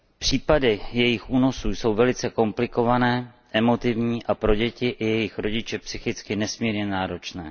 Případy jejich únosů jsou velice komplikované, emotivní a pro děti i jejich řidiče psychicky nesmírně náročné.